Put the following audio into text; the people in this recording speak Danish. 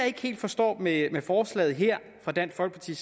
ikke helt forstår ved forslaget her fra dansk folkeparti